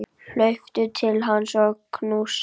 Hlaupa til hans og knúsa.